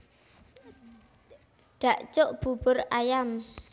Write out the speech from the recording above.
Dakjuk bubur ayam